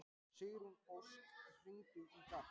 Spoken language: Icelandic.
Sigurósk, hringdu í Garp.